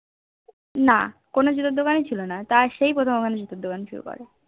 না কোনো জুতোর দোকানি ছিল তার সেই প্রথম ওখানে জুতোর দোকান শুরু করে